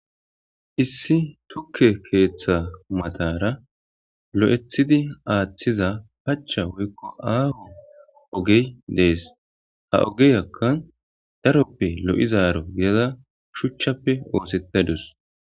Issi tuke keththa mataralo'ithidi woykon pachara athiza ogey de'es daroppe lo'izaro gidada shuchappe osetadusi.